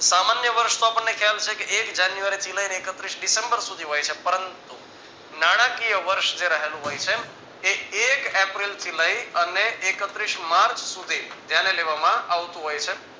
સામાન્ય વર્ષનો આપણને ખ્યાલ છે કે એક જાન્યુઆરી થી લઈ ને એકત્રીશ ડિસેમ્બર સુધી હોય છે પરંતુ નાણાકીય વર્ષ રહેલું હોય છે એક એપ્રિલ થી લઈ ને અને એકત્રીશ માર્ચ સુધી ધ્યાને લેવામાં આવતું હોય છે